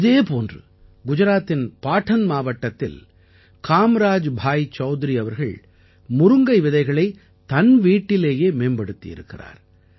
இதே போன்று குஜராத்தின் பாடன் மாவட்டத்தில் காம்ராஜ் பாய் சௌத்ரி அவர்கள் முருங்கை விதைகளை தன் வீட்டிலேயே மேம்படுத்தியிருக்கிறார்